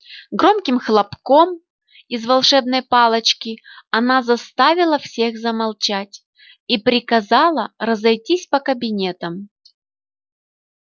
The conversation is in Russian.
громким хлопком из волшебной палочки она заставила всех замолчать и приказала разойтись по кабинетам